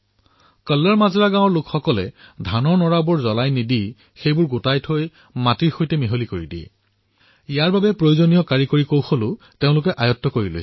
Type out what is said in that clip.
কল্লৰ মাজৰা এইবাবেই চৰ্চালৈ আহিল কাৰণ তাৰে বাসিন্দাই ধানৰ পৰালি জ্বলাই দিয়াৰ পৰিৱৰ্তে সেইসমূহ একত্ৰ কৰি তাক মাটিৰ সৈতে মিহলাই দিয়ে আৰু তাৰ বাবে যি প্ৰযুক্তিৰ ব্যৱহাৰ হয় সেয়া গোটাই লয়